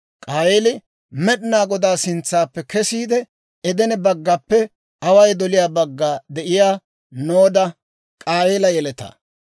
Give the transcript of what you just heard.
K'aayeeli Med'inaa Godaa sintsaappe kesiide, Edene baggaappe away doliyaa baggana de'iyaa Nooda biittaan de'eeddino.